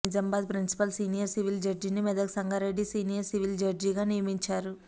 Nizamabad principal senior civil జడ్జిని Medak Sangareddy senior civil జడ్జిగా నియమించారు